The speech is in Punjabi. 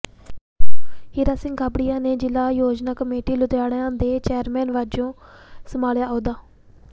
ਹੀਰਾ ਸਿੰਘ ਗਾਬੜੀਆ ਨੇ ਜ਼ਿਲ੍ਹਾ ਯੋਜਨਾ ਕਮੇਟੀ ਲੁਧਿਆਣਾ ਦੇ ਚੇਅਰਮੈਨ ਵਜੋਂ ਸੰਭਾਲਿਆ ਅਹੁਦਾ